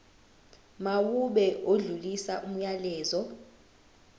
mawube odlulisa umyalezo